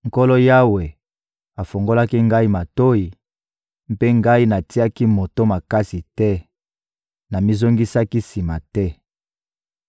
Nkolo Yawe afungolaki ngai matoyi, mpe ngai natiaki moto makasi te; namizongisaki sima te.